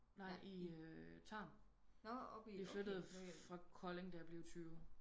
Nej i eh Tarm vi flyttede fra Kolding da jeg blev 20